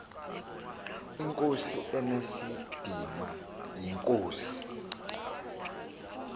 inkosi enesidima yinkosi